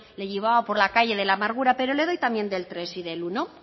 le llevaba por la calle de la amargura pero le doy también del tercero y del primero